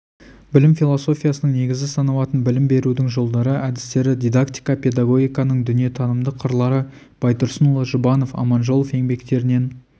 білім философиясының негізі саналатын білім берудің жолдары әдістері дидактика педагогиканың дүниетанымдық қырлары байтұрсынұлы жұбанов аманжолов еңбектерінен